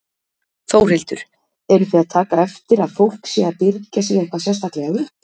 Þórhildur: Eruð þið að taka eftir að fólk sé að byrgja sig eitthvað sérstaklega upp?